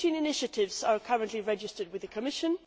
Fourteen initiatives are currently registered with the Commission